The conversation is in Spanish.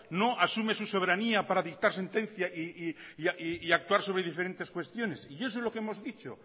no asume su soberanía para dictar sentencia y actuar sobre diferentes cuestiones y eso es lo que hemos dicho